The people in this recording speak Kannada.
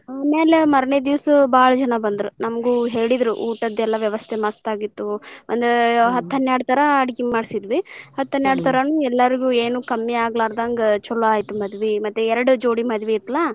ಆಮೇಲೆ ಮರನೆ ದಿವಸ ಬಾಳ್ ಜನಾ ಬಂದ್ರ್ ನಮಗೂ ಹೇಳಿದ್ರು ಊಟದೆಲ್ಲಾ ವ್ಯವಸ್ಥೆ ಮಸ್ತ ಆಗಿತ್ತು ಅಂದ್ರ ಹತ್ತ ಹನ್ಯಾರ್ಡ್ ತರಾ ಅಡ್ಗಿ ಮಾಡ್ಸಿದ್ವಿ ಹತ್ತ ಹನ್ಯಾರ್ಡ್ ತರಾನು ಎಲ್ಲಾರು ಏನು ಕಮ್ಮಿ ಆಗಲಾರದಂಗ ಚೊಲೊ ಆಯ್ತು ಮದ್ವಿ ಮತ್ತ್ ಎರಡ್ ಜೋಡಿ ಮದ್ವಿ ಇತ್ಲಾ .